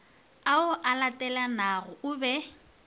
ao a latelanago o be